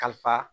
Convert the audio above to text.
Kalifa